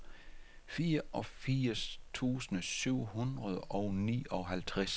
fireogfirs tusind syv hundrede og nioghalvtreds